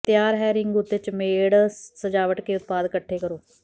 ਤਿਆਰ ਹੈ ਰਿੰਗ ਉੱਤੇ ਚਮੇੜ ਸਜਾਵਟ ਕੇ ਉਤਪਾਦ ਇਕੱਠੇ ਕਰੋ